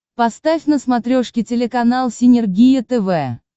поставь на смотрешке телеканал синергия тв